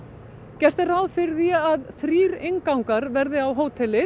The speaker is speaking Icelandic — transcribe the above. gert er ráð fyrir því að þrír inngangar verði á hótelið